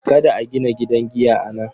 Kada a gina gidan giya a nan.